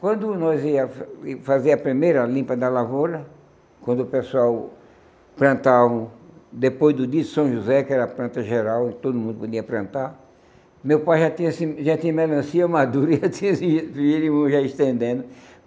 Quando nós ia fazer a primeira limpa da lavoura, quando o pessoal plantavam, depois do dia de São José, que era a planta geral, e todo mundo podia plantar, meu pai já tinha já tinha melancia madura